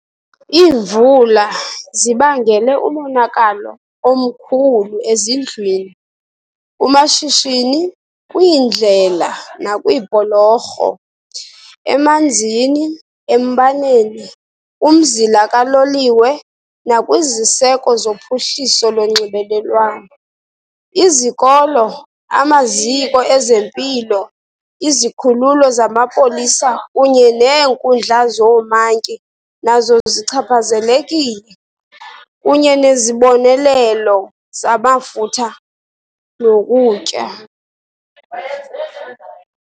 Iimvula zibangele umonakalo omkhulu ezindlwini, kumashishini, kwiindlela nakwiibhulorho, emanzini, embaneni, kumzila kaloliwe nakwiziseko zophuhliso lonxibelelwano. Izikolo, amaziko ezempilo, izikhululo zamapolisa kunye neenkundla zoomantyi nazo zichaphazelekile, kunye nezibonelelo zamafutha nokutya.